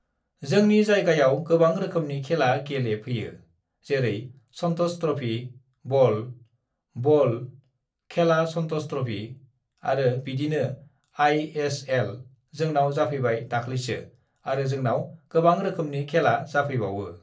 "जोंनि जायगायाव गोबां रोखोमनि खेला गेलेफैयो जेरै सन्टष थ्रफि (Santosh Trophy) बल (ball), बल (ball) खेला सन्टष थ्रफि (Santosh Trophy) आरो बिदिनो आइ एस एल (ISL) जोंनाव जाफैबाय दाख्लैसो आरो जोंनाव गोबां रोखोमनि खेला जाफैबावो"